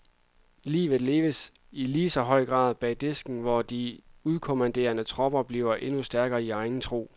Livet leves i ligeså høj grad bag disken, hvor de udkommanderede tropper bliver endnu stærkere i egen tro.